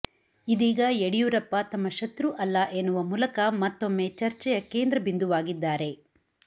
ಇದೀಗ ಯಡಿಯೂರಪ್ಪ ತಮ್ಮ ಶತ್ರು ಅಲ್ಲ ಎನ್ನುವ ಮೂಲಕ ಮತ್ತೊಮ್ಮೆ ರ್ಚೆಯ ಕೇಂದ್ರ ಬಿಂದುವಾಗಿದ್ದಾರೆ